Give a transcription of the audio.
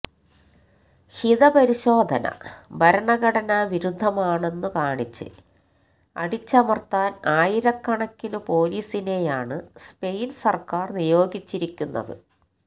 ഹിതപരിശോധന ഭരണഘടനാ വിരുദ്ധമാണെന്നു കാണിച്ച് അടിച്ചമര്ത്താന് ആയിരക്കണക്കിനു പൊലീസിനെയാണ് സ്പെയിന് സര്ക്കാര് നിയോഗിച്ചിരുന്നത്